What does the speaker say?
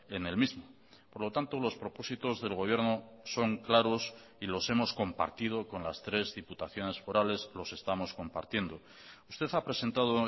en el mismo por lo tanto los propósitos del gobierno son claros y los hemos compartido con las tres diputaciones forales los estamos compartiendo usted ha presentado